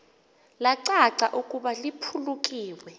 lacaca ukuba liphulukiwe